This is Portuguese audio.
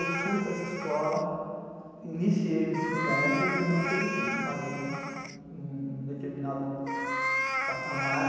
Eu fui para essa escola, iniciei o ensino médio e não terminei, parei em um determinado patamar.